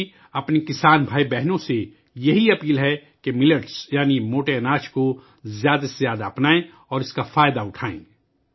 میرے کسان بھائیوں اور بہنوں سے میری درخواست ہے کہ ملٹ یعنی موٹے اناج کو زیادہ سے زیادہ اپنائیں اور اس سے فائدہ اٹھائیں